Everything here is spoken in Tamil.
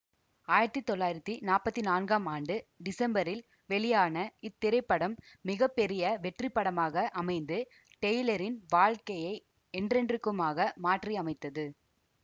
ஆயிரத்தி தொள்ளாயிரத்தி நாப்பத்தி நான்காம் ஆண்டு டிசம்பரில் வெளியான இத்திரைப்படம் மிக பெரிய வெற்றி படமாக அமைந்து டெய்லரின் வாழ்க்கையை என்றென்றுக்குமாக மாற்றியமைத்தது